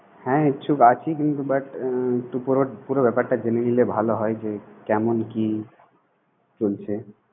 হ্যাঁ, ইচ্ছুক আছি। কিন্তু but ওই পুরো ব্যাপারটা জেনে নিলে ভালো হয়। যে কেমন কি চলছে?